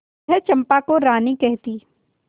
वह चंपा को रानी कहती